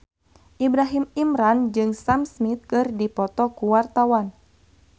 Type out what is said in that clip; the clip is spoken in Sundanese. Ibrahim Imran jeung Sam Smith keur dipoto ku wartawan